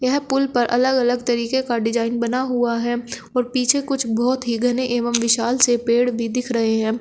यह पुल पर अलग अलग तरीके का डिजाइन बना हुआ है और पीछे कुछ बहुत ही घने एवं विशाल से पेड़ भी दिख रहे हैं।